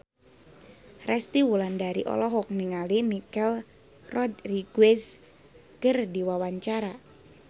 Resty Wulandari olohok ningali Michelle Rodriguez keur diwawancara